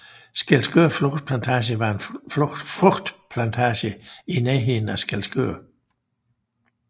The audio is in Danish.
Skælskør Frugtplantage var en frugtplantage i nærheden af Skælskør